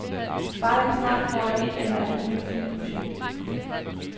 Bare jeg snart får et eller andet nyt filmprojekt.